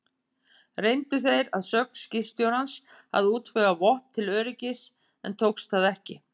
Reyndu þeir að sögn skipstjórans að útvega vopn til öryggis, en tókst það ekki.